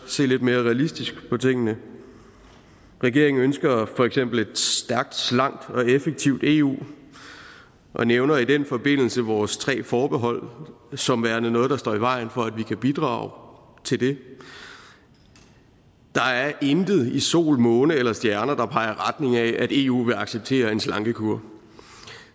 se lidt mere realistisk på tingene regeringen ønsker for eksempel et stærkt slank og effektivt eu og nævner i den forbindelse vores tre forbehold som værende noget der står i vejen for at vi kan bidrage til det der er intet i sol måne eller stjerner der peger i retning af at eu vil acceptere en slankekur